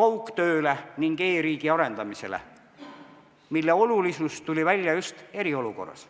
kaugtööle ning e-riigi arendamisele, mille olulisus on tulnud välja just eriolukorras.